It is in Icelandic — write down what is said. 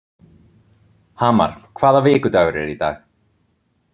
Hamar, hvaða vikudagur er í dag?